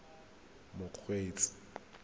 mokgweetsi